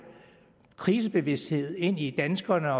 prisbevidsthed ind i danskerne